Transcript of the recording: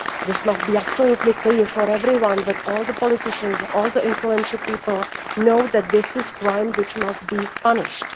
This must be absolutely clear to everyone all politicians, all influential people must know that this is a crime which must be punished.